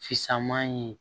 Fisaman ye